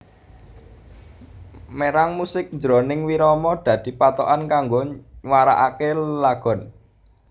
Mérang musik jroning wirama dadi pathokan kanggo nywaraké lelagon